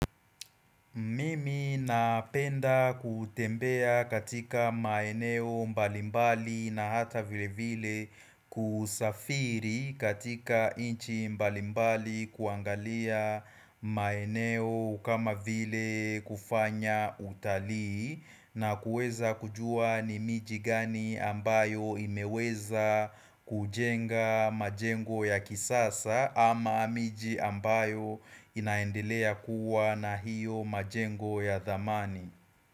Mimi napenda kutembea katika maeneo mbalimbali na hata vile vile kusafiri katika nchi mbalimbali kuangalia maeneo kama vile kufanya utalii na kuweza kujua ni miji gani ambayo imeweza kujenga majengo ya kisasa ama miji ambayo inaendelea kuwa na hiyo majengo ya thamani.